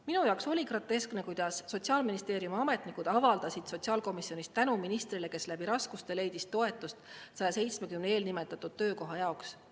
Minu jaoks oli groteskne, kuidas Sotsiaalministeeriumi ametnikud avaldasid sotsiaalkomisjonis tänu ministrile, kes läbi raskuste leidis toetust 170 eelnimetatud töökoha jaoks.